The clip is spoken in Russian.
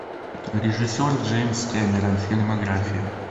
режиссер джеймс кэмерон фильмография